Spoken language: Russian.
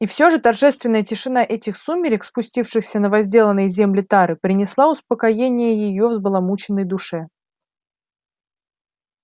и всё же торжественная тишина этих сумерек спустившихся на возделанные земли тары принесла успокоение её взбаламученной душе